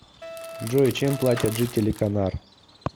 джой чем платят жители канар